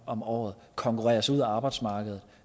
om året konkurreres ud af arbejdsmarkedet